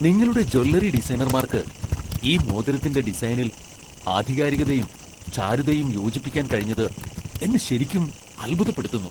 നിങ്ങളുടെ ജ്വല്ലറി ഡിസൈനർമാർക്ക് ഈ മോതിരത്തിന്റെ ഡിസൈനിൽ ആധികാരികതയും, ചാരുതയും യോജിപ്പിക്കാൻ കഴിഞ്ഞത് എന്നെ ശരിക്കും അത്ഭുതപ്പെടുത്തുന്നു.